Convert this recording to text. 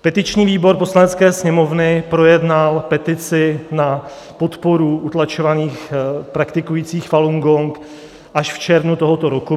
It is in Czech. Petiční výbor Poslanecké sněmovny projednal petici na podporu utlačovaných praktikujících Falun Gong až v červnu tohoto roku.